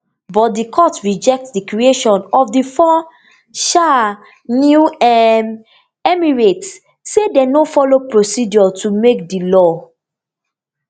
but di court reject di creation of di four um new um emirates say dem no follow procedure to make di law